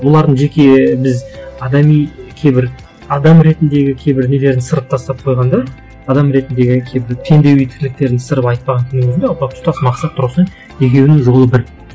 олардың жеке біз адами кейбір адам ретіндегі кейбір нелерін сырып тастап қойғанда адам ретіндегі кейбір тірліктерін сырып айтпағанның өзінде тұтас мақсат тұрғысынан екеуінің жолы бір